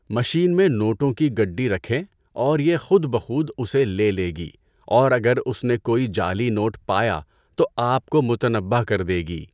Machine میں نوٹوں کی گڈی رکھیں اور یہ خود بخود اسے لے لے گی اور اگر اس نے کوئی جعلی نوٹ پایا تو آپ کو متنبہ کر دے گی۔